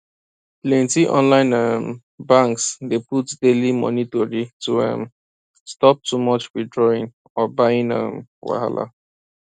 plenty online um banks dey put daily money tori to um stop too much withdrawing or buying um wahala